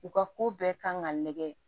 U ka ko bɛɛ kan ka nɛgɛ